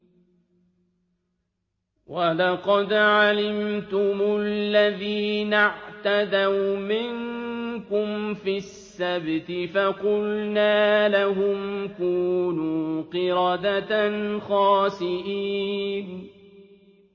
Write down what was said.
وَلَقَدْ عَلِمْتُمُ الَّذِينَ اعْتَدَوْا مِنكُمْ فِي السَّبْتِ فَقُلْنَا لَهُمْ كُونُوا قِرَدَةً خَاسِئِينَ